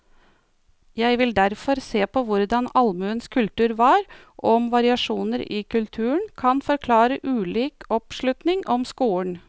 Jeg vil derfor se på hvordan allmuens kultur var, og om variasjoner i kulturen kan forklare ulik oppslutning om skolen.